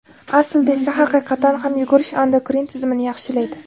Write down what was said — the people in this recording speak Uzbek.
Aslida esa: haqiqatan ham yugurish endokrin tizimini yaxshilaydi.